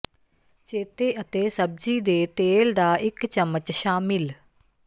ਚੇਤੇ ਅਤੇ ਸਬਜ਼ੀ ਦੇ ਤੇਲ ਦਾ ਇੱਕ ਚਮਚ ਸ਼ਾਮਿਲ